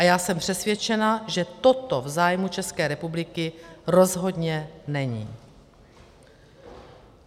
A já jsem přesvědčena, že toto v zájmu České republiky rozhodně není.